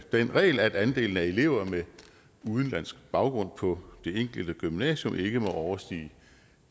den regel at andelen af elever med udenlandsk baggrund på det enkelte gymnasium ikke må overstige